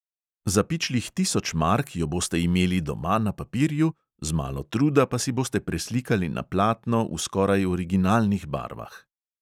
Za pičlih tisoč mark jo boste imeli doma na papirju, z malo truda pa si boste preslikali na platno v skoraj originalnih barvah.